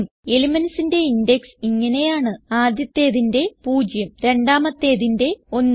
elementsന്റെ index ഇങ്ങനെയാണ്ആദ്യത്തേതിന്റെ 0 രണ്ടാമത്തേതിന്റെ 1